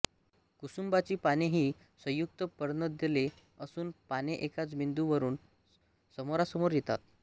कुसुंबाची पाने हि संयुक्त पर्णदले असून पाने एकाच बिंदू वरून समोरासमोर येतात